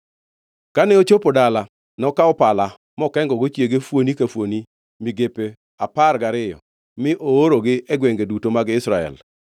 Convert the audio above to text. Kane ochopo dala, nokawo pala mokengogo chiege, fuoni ka fuoni migepe apar gariyo mi oorogi e gwenge duto mag Israel.